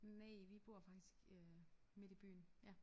Næ vi bor faktisk øh midt i byen ja